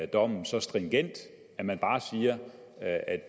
dommen så stringent at man bare siger at